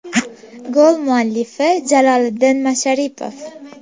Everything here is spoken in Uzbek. Gol muallifi Jaloliddin Masharipov.